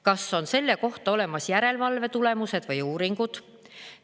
Kas on selle kohta olemas järelevalve tulemused või uuringud?